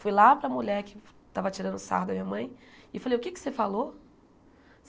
Fui lá para a mulher que estava tirando o sarro da minha mãe e falei, o que é que você falou?